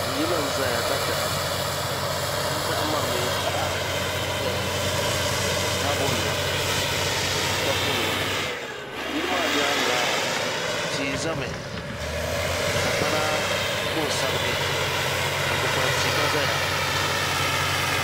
Yili n ʒɛya ka daham di dahambu maa mii taha n doya ni taabo nima ni papu nima yili maa nyaanga tia ʒɛmi ka sagbana ku n sabigi ka kpukpali tia gba ʒɛya